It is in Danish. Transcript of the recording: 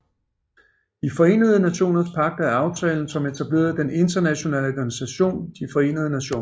De Forenede Nationers Pagt er aftalen som etablerede den internationale organisation De Forenede Nationer